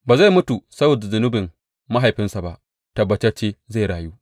Ba zai mutu saboda zunubin mahaifinsa ba; tabbatacce zai rayu.